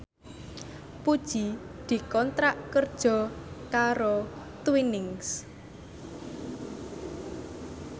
Puji dikontrak kerja karo Twinings